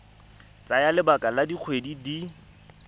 tsaya lebaka la dikgwedi di